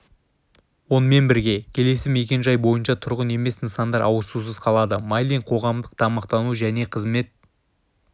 онымен бірге келесі мекен-жай бойынша тұрғын емес нысандар ауыз сусыз қалады майлин қоғамдық тамақтану және қызмет